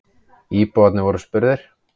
Íbúarnir voru spurðir.